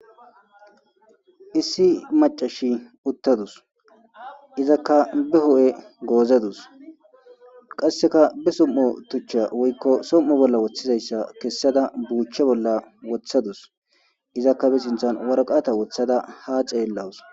issi macashi uttadus izakka bi ho7e goozadus qasseka bi som7o tuchcha woykko som7o bolla woththizayssa kessada buuchche bolla wothadus izakka bi sinthan warqata wothada ha ceellawus